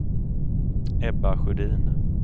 Ebba Sjödin